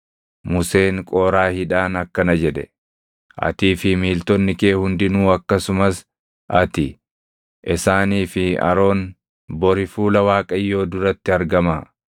Museen Qooraahiidhaan akkana jedhe; “Atii fi miiltonni kee hundinuu akkasumas ati, isaanii fi Aroon bori fuula Waaqayyoo duratti argamaa.